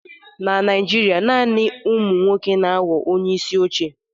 Na Naijiria, naanị ụmụ nwoke na-aghọ onyeisi oche.